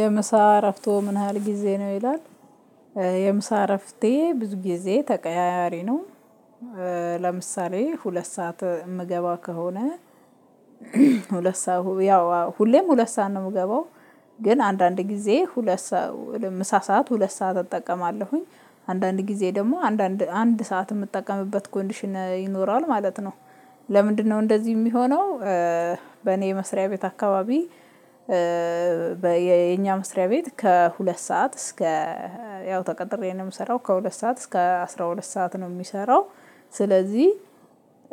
የምሳ እረፍቶ ምን ያህል ጊዜ ነው ይላል? የምሳ እረፍቴ ብዙ ጊዜ ተቀያያሪ ነው። ለምሳሌ ሁለት ሰዓት የምገባ ከሆነ ሁለት ሰዓት ያው ሁሌም ሁለት ሰዓት ነው የምገባው። ግን አንዳንድ ጊዜ ሁለት ሰው ምሳ ሰዓት ሁለት ሰዓት እጠቀማለሁኝ አንዳንድ ጊዜ ደግሞ አንዳንድ አንድ ሰዓት የምጠቀምበት ጎንዲሽን ይኖራል ማለት ነው። ለምንድነው እንደዚህ የሚሆነው? በኔ የመስሪያ ቤት አካባቢ። በየኛ መስሪያ ቤት ከሁለት ሰዓት እስከ ያው ተቀጥሬ ነው የምሰራው ከሁለት ሰዓት እስከ አስራ ሁለት ሰዓት ነው የሚሰራው። ስለዚህ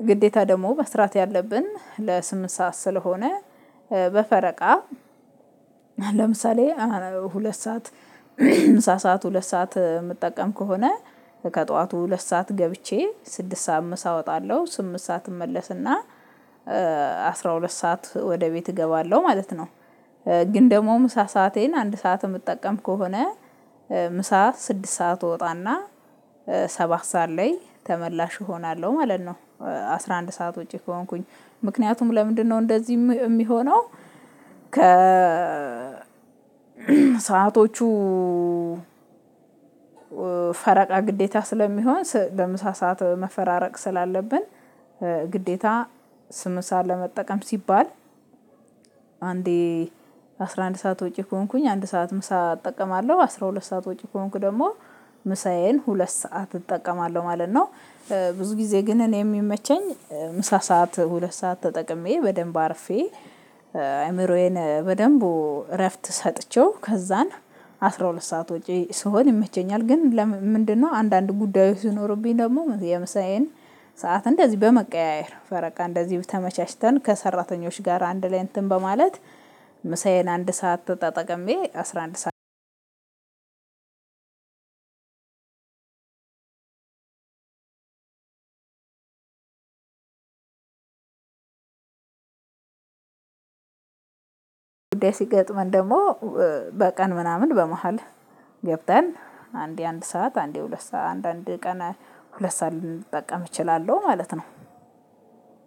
ግዴታ ደግሞ መስራት ያለብን ለስምንት ሰዓት ስለሆነ በፈረቃ ለምሳሌ ሁለት ሰዓት ምሳ ሰዓት ሁለት ሰዓት የምጠቀም ከሆነ። ከጠዋቱ ሁለት ሰዓት ገብቼ ስድስት ሰዓት ምሳ ወጣለሁ ስምንት ሰዓት እመለስና አስራ ሁለት ሰዓት ወደ ቤት እገባለሁ ማለት ነው። ግን ደግሞ ምሳ ሰአቴን አንድ ሰዓት ምጠቀም ከሆነ ምሳ ስድስት ሰዓት እወጣና ሰባት ሰዓት ተመላሽ እሆናለሁ ማለት ነው። አስራ አንድ ሰዓት ወጪ ከሆንኩኝ ምክንያቱም ለምንድነው እንደዚህ የሚሆነው? ከ ሰአቶቹ ፈረቃ ግዴታ ስለሚሆን በምሳ ሰዓት መፈራረቅ ስላለብን። ግዴታ ስምንት ሰዓት ለመጠቀም ሲባል። አንዴ አስራ አንድ ሰዓት ወጪ ከሆንኩኝ አንድ ሰዓት ምሳ እጠቀማለሁ አስራ ሁለት ሰዓት ወጪ ከሆንኩ ደግሞ ምሳዬን ሁለት ሰዓት እጠቀማለሁ ማለት ነው። ብዙ ጊዜ ግን እኔ የሚመቸኝ ምሳ ሰዓት ሁለት ሰዓት ተጠቅሜ በደንብ አርፌ አይምሮዬን በደንብ እረፍት ሰጥቼው ከዛን አስራ ሁለት ሰዓት ወጪ ስሆን ይመቸኛል። ግን ምንድነው አንዳንድ ጉዳዩ ሲኖሩብኝ ደግሞ የምሳዬን ሰዓት እንደዚህ በመቀያየር ፈረቃ እንደዚህ ተመቻችተን ከሰራተኞች ጋር አንድ ላይ እንትን በማለት። ምሳዬን አንድ ሰዓት ተጠቅሜ አስራ አንድ። ጉዳይ ሲገጥመን ደግሞ በቀን ምናምን በመሃል ገብተን አንዴ አንድ ሰዓት አንዴ ሁለት ሰዓት አንድ አንድ ቀን ሁለት ሰዓት ሊጠቀም እችላለሁ ማለት ነው።